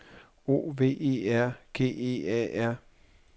O V E R G E A R